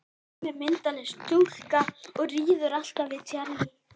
Hún er myndarstúlka og kann að taka á móti gestum.